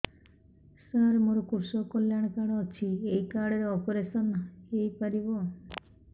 ସାର ମୋର କୃଷକ କଲ୍ୟାଣ କାର୍ଡ ଅଛି ଏହି କାର୍ଡ ରେ ଅପେରସନ ହେଇପାରିବ